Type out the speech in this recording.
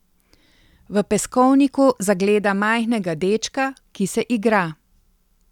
V peskovniku zagleda majhnega dečka, ki se igra.